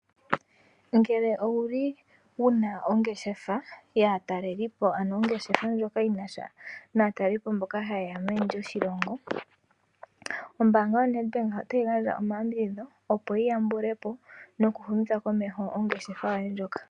Ngele owuli wuna ongeshefa ya talelepo, ano ongeshefa ndjoka yinasha natalelipo mboka hayeya meni lyoshilongo , ombanga yo Nedbank otayi gandja oma yambidhidho opo yiyambulepo noku humitha komeho ongeshefa yoye ndjoka.